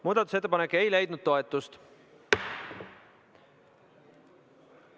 Muudatusettepanek ei leidnud toetust.